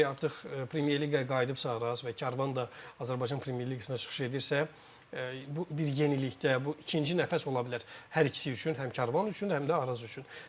Çünki artıq Premyer Liqaya qayıdıbsa Araz və Karvan da Azərbaycan Premyer Liqasına çıxış edirsə, bu bir yenilikdə, bu ikinci nəfəs ola bilər hər ikisi üçün, həm Karvan üçün, həm də Araz üçün.